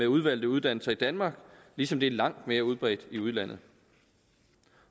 udvalgte uddannelser i danmark ligesom det er langt mere udbredt i udlandet